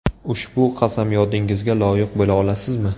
Ushbu qasamyodingizga loyiq bo‘la olasizmi?